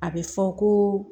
A bɛ fɔ ko